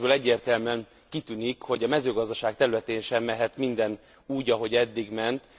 A jelentésből egyértelműen kitűnik, hogy a mezőgazdaság területén sem mehet minden úgy, ahogy eddig ment.